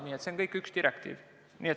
Nii et see on kõik üks direktiiv.